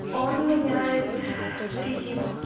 он меняет резину